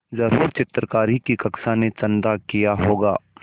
ज़रूर चित्रकारी की कक्षा ने चंदा किया होगा